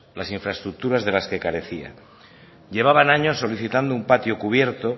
las infraestructuras de las que carecían llevaban años solicitando un patio cubierto